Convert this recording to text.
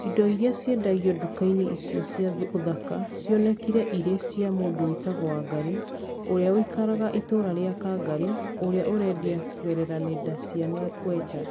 Indo iria ciendagio nduka-inĩ icio cia ũthaka cionekire irĩ cia mũndũ wĩtagwo wangarĩ , ũrĩa ũikaraga itũra rĩa Kangarĩ ũrĩa ũrendia kũgerera nenda cia WeChat.